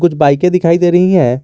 कुछ बाईकें दिखाई दे रही हैं।